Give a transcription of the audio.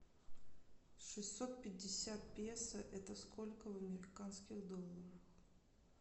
шестьсот пятьдесят песо это сколько в американских долларах